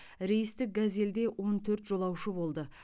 рейстік газельде он төрт жолаушы болды